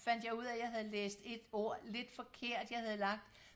fandt jeg ud af jeg havde læst et ord lidt forkert jeg havde lagt